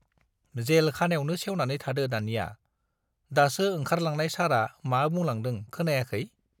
जेल खानायावनो सेवनानै थादो दानिया, दासो ओंखारलांनाय सारआ मा बुंलांदों खोनायाखै?